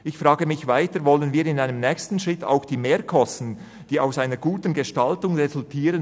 Ich frage mich weiter, ob wir in einem nächsten Schritt auch die Mehrkosten begrenzen wollen, die aus einer guten Gestaltung resultieren.